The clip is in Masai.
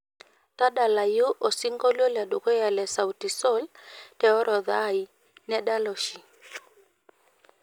tadalayu osingolio le dukuya le sauti sol te orodha ai nedala oshi